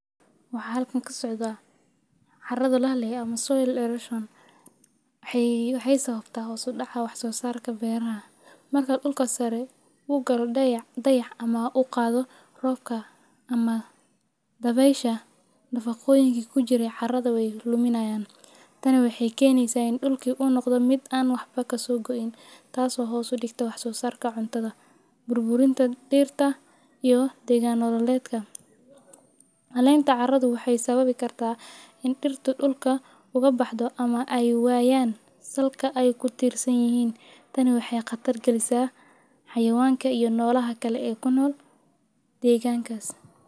Waxaa halkan kasocadaah cara layirahdo soil erosion waxay sababta hos udaca wax sosarka beraha, marku galo dayac ama uqadho robka ama dabesha nafaqoyinka kujiraah carada weyduminayan , tan waxay keneysa in dhulka an waxba kasobixin, tas oo hos udigtaah wax sosarka cuntadha. Burburibnta fidka iyo degan noloedka , calenta waxy sabbaui karta in dirta dhulka ogabaxdhoama ay wayan wax ay kutirsanyihin, tani waxay qalqal galisaah xayawanka ama nolaha kale ee kunol deganka.